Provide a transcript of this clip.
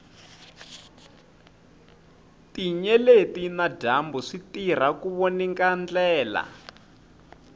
tinyeleti na dyambu switirha ku voninga ndlela